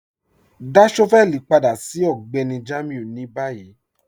Dá shọ́vẹ̀lì padà sí Ọgbẹ́ni Jamiu ni bayí.